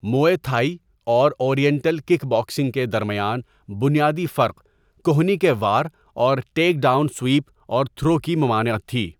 موئے Thai اور oriental kick boxing کے درمیان بنیادی فرق کہنی کے وار اور ٹیک ڈاؤن سویپ اور تھرو کی ممانعت تھی.